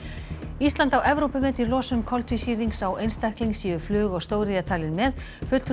ísland á Evrópumet í losun koltvísýrings á einstakling séu flug og stóriðja talin með fulltrúi